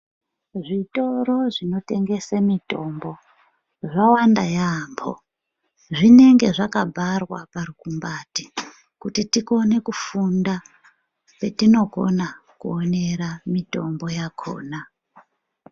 Zvitoro zvinotengesa mutombo zvawanda yabhoo ,zvinenge zvakabharwa parikubhati kuti tikone kufunda patinokona kuonera mitombo yakona .